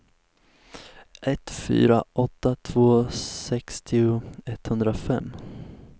ett fyra åtta två sextio etthundrafem